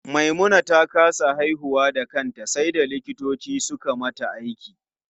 Maimuna ta kasa haihuwa da kanta sai da likitoci suka mata aiki.